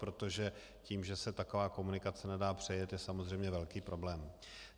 Protože to, že se taková komunikace nedá přejet, je samozřejmě velký problém.